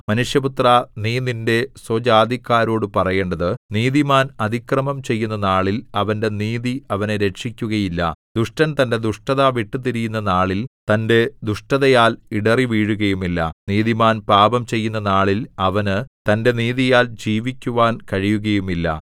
മനുഷ്യപുത്രാ നീ നിന്റെ സ്വജാതിക്കാരോടു പറയേണ്ടത് നീതിമാൻ അതിക്രമം ചെയ്യുന്ന നാളിൽ അവന്റെ നീതി അവനെ രക്ഷിക്കുകയില്ല ദുഷ്ടൻ തന്റെ ദുഷ്ടത വിട്ടുതിരിയുന്ന നാളിൽ തന്റെ ദുഷ്ടതയാൽ ഇടറിവീഴുകയുമില്ല നീതിമാൻ പാപം ചെയ്യുന്ന നാളിൽ അവന് തന്റെ നീതിയാൽ ജീവിക്കുവാൻ കഴിയുകയുമില്ല